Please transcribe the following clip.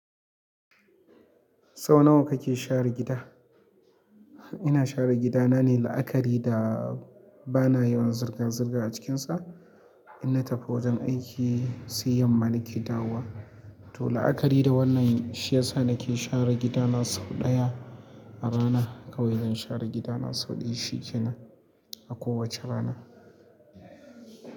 Sau nawa kake share gida? Ina share gidana ne la'akari da ba na yawan zirga-zirga a cikinsa. Inna tafi wajen aiki, sai yamma nake dawowa. To, la'akari da wannan, shi yasa nake share gidana sau ɗaya a rana. Kawai zan share gidana sau ɗaya shi kenan a kowace rana.